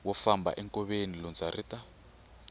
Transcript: wo famba enkoveni lundza ri